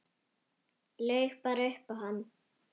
Laug bara upp á hann.